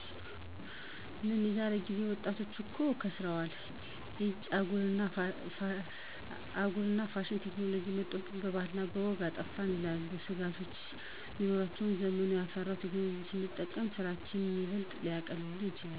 "ምን የዛሬ ጊዜ ወጣቶች እኮ ከሰረዋል። ኢጭ! አጓጉል ፋሽንና ቴክኖሎጅ መጦብን፤ ባህላችንን እና ወጋችንን አጠፉት" ይላሉ። ስጋቶች ቢኖሩበትም ዘመኑ ያፈራቸውን ቴክኖሎጅዎች ስንጠቀም ስራችንን ይበልጥ ሊያቀሉልን ይችላሉ።